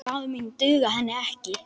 Ráð mín duga henni ekki.